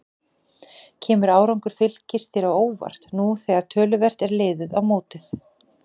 Kemur árangur Fylkis þér á óvart nú þegar töluvert er liðið á mótið?